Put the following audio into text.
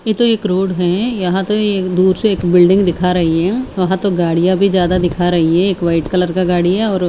इधर एक रोड है यहाँ तो एक दूर से एक बिल्डिंग दिखाई दे रही है यहाँ तो गाड़िया भी ज्यादा दिखा रही है एक व्हाईट कलर का गाड़ी है और--